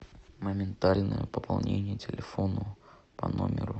моментальное пополнение телефона по номеру